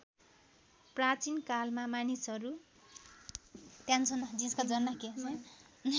प्राचीन कालमा मानिसहरू